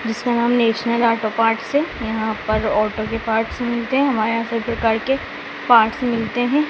जिसका नाम national auto parts है यहाँ पर ऑटो के पार्ट्स मिलते हैं हमारे यहाँ सब प्रकार के पार्ट्स मिलते हैं।